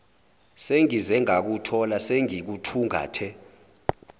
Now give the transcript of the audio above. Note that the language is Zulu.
sengize ngakuthola sengikuthungathe